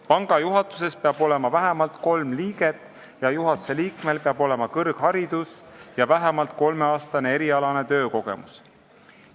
Panga juhatuses peab olema vähemalt kolm liiget ja juhatuse liikmel peab olema kõrgharidus ja vähemalt kolmeaastane erialane töökogemus.